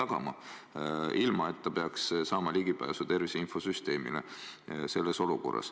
Ta ei pea selleks saama ligipääsu tervise infosüsteemile.